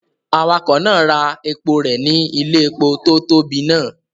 Awakọ̀ náà ra epo rẹ̀ ní ilé-epo tó tóbi náà.